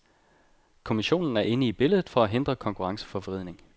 Kommissionen er inde i billedet for at hindre konkurrenceforvridning.